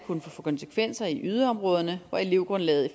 kunne få konsekvenser i yderområderne hvor elevgrundlaget